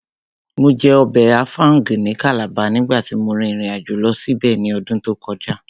Mo jẹ ọbẹ̀ áfáúngì ní Calabar nígbàtí mo rìn ìrìnàjò lọ síbẹ̀ ní ọdún tó kọjá